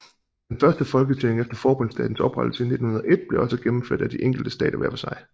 Den første folketælling efter forbundsstatens oprettelse i 1901 blev også gennemført af de enkelte stater hver for sig